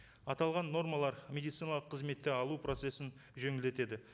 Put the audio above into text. аталған нормалар медициналық қызметті алу процессін жеңілдетеді